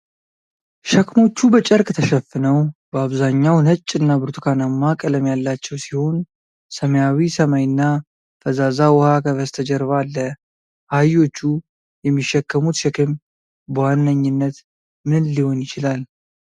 ሸክሞቹ በጨርቅ ተሸፍነው በአብዛኛው ነጭ እና ብርቱካናማ ቀለም ያላቸው ሲሆን፣ ሰማያዊ ሰማይና ፈዛዛ ውሃ ከበስተጀርባ አለ። አህዮቹ የሚሸከሙት ሸክም በዋነኝነት ምን ሊሆን ይችላል?